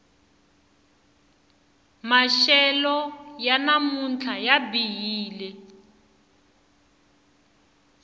maxelo ya namuntlha ya bihile